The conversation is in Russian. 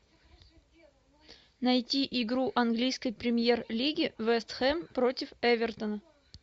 найти игру английской премьер лиги вест хэм против эвертона